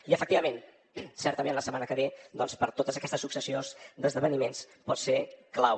i efectivament certament la setmana que ve doncs per totes aquestes successions d’esdeveniments pot ser clau